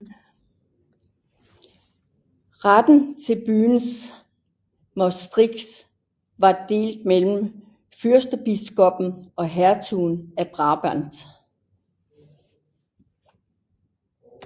Retten til byen Maastricht var delt mellem fyrstbiskoppen og hertugen af Brabant